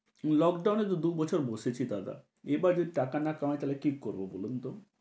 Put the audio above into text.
Lockdown এই তো দুবছর বসেছি দাদা। এবার যদি টাকা না কামাই তাহলে কী করব বলুন তো?